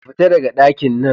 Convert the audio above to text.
Ka fita daga dakinnan!